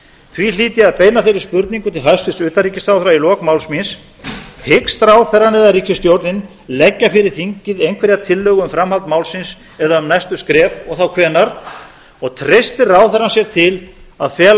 því hlýt ég að beina þeirri spurningu til hæstvirts utanríkisráðherra í lok máls míns hyggst ráðherrann eða ríkisstjórnin leggja fyrir þingið einhverja tillögu um framhald málsins eða um næstu skref og þá hvenær treystir ráðherrann sér til að fela